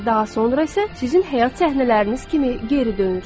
Daha sonra isə sizin həyat səhnələriniz kimi geri dönür.